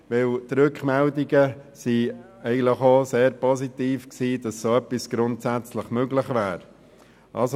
Denn die Rückmeldungen, dass dergleichen grundsätzlich möglich wäre, waren sehr positiv.